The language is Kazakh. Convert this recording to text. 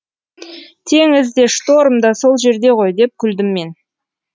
теңіз де шторм да сол жерде ғой деп күлдім мен